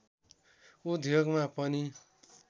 उद्योगमा पनि